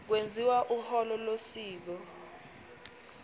kwenziwa uhlolo losiko